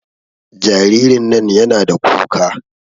Jaririn nan yana da kuka